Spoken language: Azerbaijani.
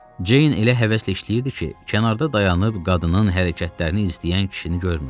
Ceyn elə həvəslə işləyirdi ki, kənarda dayanıb qadının hərəkətlərini izləyən kişini görmürdü.